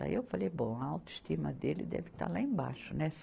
Daí eu falei, bom, a autoestima dele deve estar lá embaixo, né?